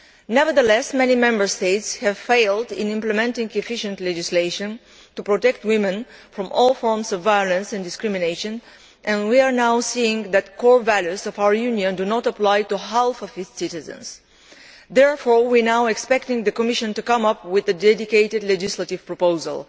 Nevertheless, many Member States have failed in implementing efficient legislation to protect women from all forms of violence and discrimination, and we are now seeing that the core values of our Union do not apply to half its citizens. Therefore, we now call on the Commission to come up with a dedicated legislative proposal.